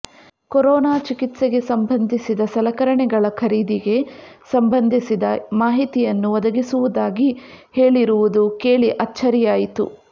corona ಚಿಕಿತ್ಸೆಗೆ ಸಂಬಂಧಿಸಿದ ಸಲಕರಣೆಗಳ ಖರೀದಿಗೆ ಸಂಬಂಧಿಸಿದ ಮಾಹಿತಿಯನ್ನು ಒದಗಿಸುವುದಾಗಿ ಹೇಳಿರುವುದು ಕೇಳಿ ಅಚ್ಚರಿಯಾಯಿತು